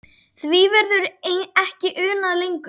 Því verður ekki unað lengur.